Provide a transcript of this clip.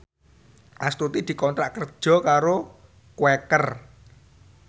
Astuti dikontrak kerja karo Quaker